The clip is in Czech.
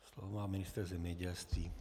Slovo má ministr zemědělství.